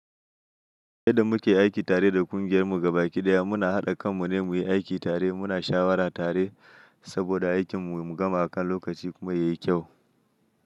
Yadda muke aiki tare da ƙungiyar mu gaba ɗaya muna haɗa kan mu ne muyi aiki tare, muna shawara tare saboda aikin mu mu gama a kan lokaci kuma yayi kyau.